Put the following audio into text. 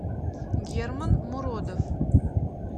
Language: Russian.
герман муродов